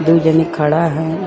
दू जनि खड़ा हैन्।